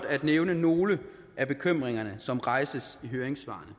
at nævne nogle af bekymringerne som rejses i høringssvarene